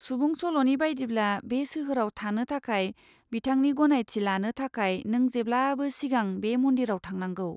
सुबुं सल'नि बायदिब्ला, बे सोहोराव थानो थाखाय बिथांनि गनायथि लानो थाखाय नों जेब्लाबो सिगां बे मन्दिराव थांनांगौ।